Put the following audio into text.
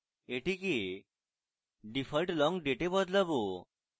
এটিকে default long date we বদলাবো